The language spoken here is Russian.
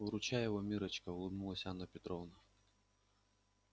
выручай его миррочка улыбнулась анна петровна